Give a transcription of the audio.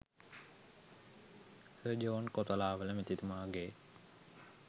sir John Kotelawala මැතිතුමාගේ